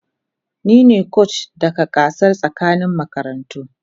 Ni ne kocin daga gasar tsakanin makarantu.